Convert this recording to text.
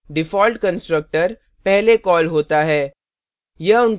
default constructor पहले call होता है